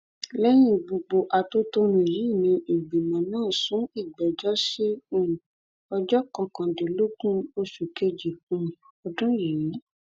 lẹyìn gbogbo atótónu yìí ni ìgbìmọ náà sún ìgbẹjọ sí um ọjọ kọkàndínlógún oṣù kejì um ọdún yìí